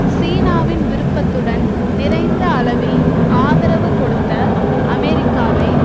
சீனாவின் விருப்பத்துடன் நிறைந்த அளவில் ஆதரவு கொடுத்த அமெரிக்காவை